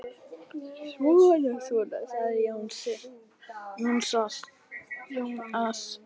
Svona svona, sagði Jónas.